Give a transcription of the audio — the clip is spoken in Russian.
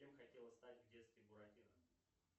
кем хотела стать в детстве буратино